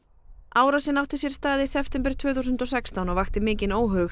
árásin átti sér stað í september tvö þúsund og sextán og vakti mikinn óhug